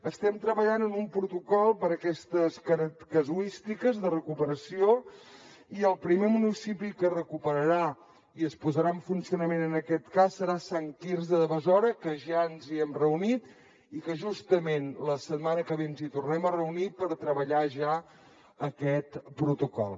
estem treballant en un protocol per aquestes casuístiques de recuperació i el primer municipi que es recuperarà i es posarà en funcionament en aquest cas serà sant quirze de besora que ja ens hi hem reunit i que justament la setmana que ve ens hi tornem a reunir per treballar ja aquest protocol